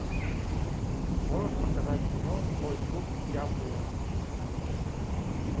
можешь показать кино злой дух ямбуя